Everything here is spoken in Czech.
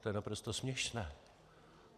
To je naprosto směšné.